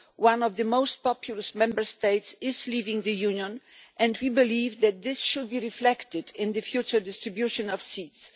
One of the most populous Member States is leaving the Union, and we believe that this should be reflected in the future distribution of seats.